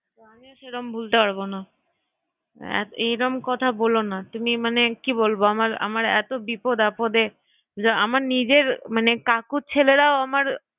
তো আমিও সেরম ভুলতে পারবো না এইরম কথা বলো না তুমি মানে কি বলবো আমার এতো বিপদ আপদে আমার নিজের মানে কাকুর ছেলেরাও আমার